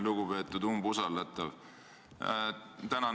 Lugupeetud umbusaldatav!